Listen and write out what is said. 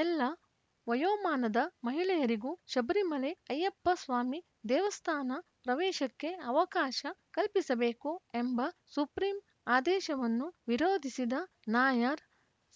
ಎಲ್ಲ ವಯೋಮಾನದ ಮಹಿಳೆಯರಿಗೂ ಶಬರಿಮಲೆ ಅಯ್ಯಪ್ಪ ಸ್ವಾಮಿ ದೇವಸ್ಥಾನ ಪ್ರವೇಶಕ್ಕೆ ಅವಕಾಶ ಕಲ್ಪಿಸಬೇಕು ಎಂಬ ಸುಪ್ರೀಂ ಆದೇಶವನ್ನು ವಿರೋಧಿಸಿದ ನಾಯರ್‌